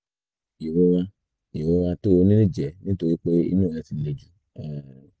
ìrora ìrora tó o ní lè jẹ́ nítorí pé inú rẹ ti le jù um